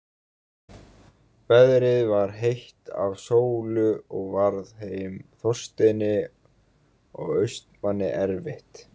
Veðrið var heitt af sólu og varð þeim Þorsteini og Austmanni erfitt.